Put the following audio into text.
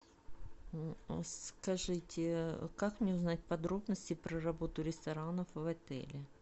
скажите как мне узнать подробности про работу ресторанов в отеле